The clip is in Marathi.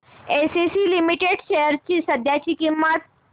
एसीसी लिमिटेड शेअर्स ची सध्याची किंमत